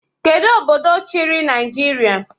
Kedu obodo chịrị Naijiria?